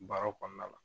Baaraw kɔnɔna la